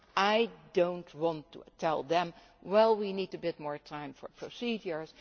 I do not want to tell them Well, we need to have more time for procedures